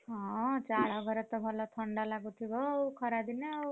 ହଁ ଚାଳ ଘରେ ତ ଭଲ ଥଣ୍ଡା ଲାଗୁଥିବ ଆଉ ଖରା ଦିନେ ଆଉ।